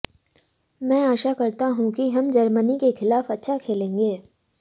मैं आशा करता हूं कि हम जर्मनी के खिलाफ अच्छा खेलेंगे